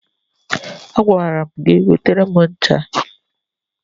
Agwara m gị wetara m ncha!